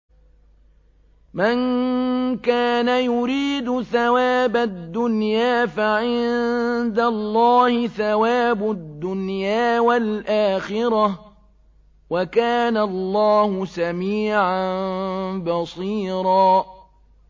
مَّن كَانَ يُرِيدُ ثَوَابَ الدُّنْيَا فَعِندَ اللَّهِ ثَوَابُ الدُّنْيَا وَالْآخِرَةِ ۚ وَكَانَ اللَّهُ سَمِيعًا بَصِيرًا